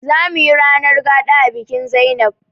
Zamuyi ranar gaɗa a bikin zainab